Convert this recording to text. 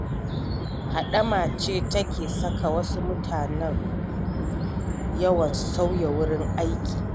Haɗama ce take saka wasu mutanen yawan sauya wurin aiki.